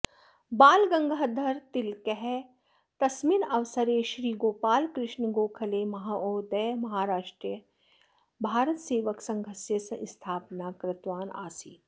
बालगङ्गाधरतिलकः तस्मिन्नवसरे श्री गोपालकृष्ण गोखलेमहोदयः महाराष्ट्रे भारतसेवकसङ्घस्य स्थापनां कृतवान् आसीत्